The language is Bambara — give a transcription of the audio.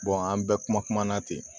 an bɛɛ kuma kuma na ten